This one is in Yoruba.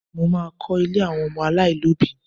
Mo má a kọ́ ilé àwọn ọmọ aláìlóbìí